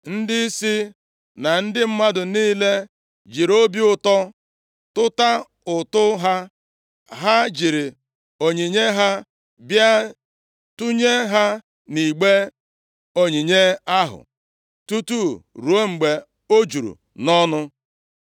Ndịisi na ndị mmadụ niile jiri obi ụtọ tụta ụtụ ha. Ha jiri onyinye ha bịa tụnye ha nʼigbe onyinye ahụ, tutu rụọ mgbe o juru nʼọnụ.